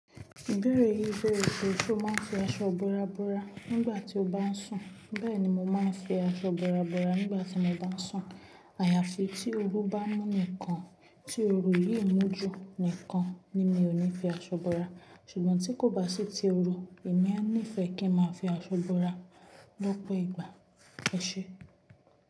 Ìbéèrè ìbéèrè pe ṣe o máa ń fi aṣọ ibora bora nígbà tí o bá ń sùn? Bẹ́ẹ̀ni, mo máa ń fi aṣọ ibora bora nígbà tí mo bá ń sùn. Àyàfi tí oru bá mú nìkan, tí oru yìí mú ju nìkan ni mi ò ní fi aṣọ bora. Ṣùgbọ́n tí kò bá sí ti oru, èmi a nífẹ̀ẹ́ kí n máa fi aṣọ búra lọ́pọ̀ ìgbà. Ẹ ṣé.